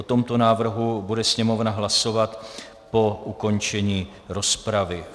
O tomto návrhu bude Sněmovna hlasovat po ukončení rozpravy.